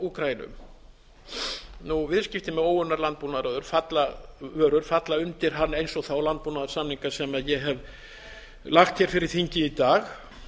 og úkraínu viðskipti með óunnar landbúnaðarvörur falla undir hann eins og þá landbúnaðarsamninga sem ég hef lagt hér fyrir þingið í dag